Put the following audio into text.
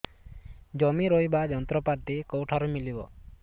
ଜମି ରୋଇବା ଯନ୍ତ୍ରପାତି କେଉଁଠାରୁ ମିଳିବ